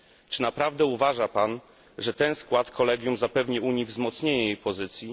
Czy naprawdę uważa pan, że ten skład kolegium zapewni Unii wzmocnienie jej pozycji?